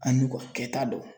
A n'u ko kɛta dɔn